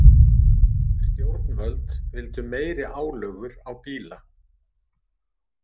Stjórnvöld vildu meiri álögur á bíla